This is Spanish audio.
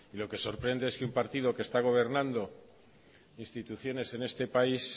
lo que sorprende es que un partido que está gobernando instituciones en este país